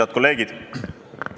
Head kolleegid!